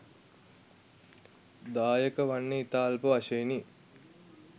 දායක වන්නේ ඉතා අල්ප වශයෙනි